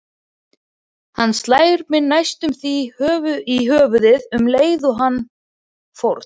Hann slær mig næstum því í höfuðið um leið og hann fórn